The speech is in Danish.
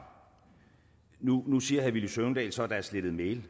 nu nu siger herre villy søvndal så at der er slettet e